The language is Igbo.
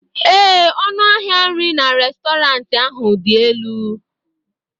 ee, ọnụ ahịa nri na Restọrantị ahụ dị elu